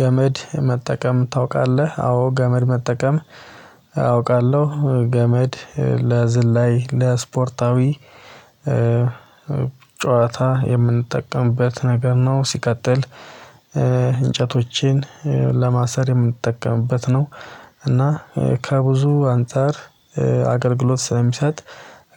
ገመድ መጠቀም ታውቃለህ? አዎ። ገመድ መጠቀም አውቃለሁ ገመድ ለዝላይ ለስፖርታዊ ጨዋታ የምንጠቀምበት ነገር ነው። ሲቀጥል እንጨቶቼን ለማሰር የምንጠቀምበት ነው። እና ከብዙ አንፃር አገልግሎት ስለሚሰጥ